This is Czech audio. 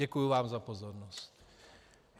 Děkuju vám za pozornost.